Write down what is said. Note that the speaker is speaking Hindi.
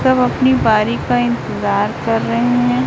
सब अपनी बारी का इंतजार कर रहे हैं।